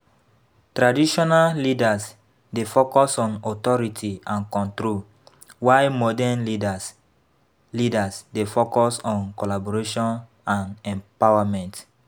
Traditional leaders dey focus on authority and control, while modern leaders leaders dey focus on collaboration and empowerment.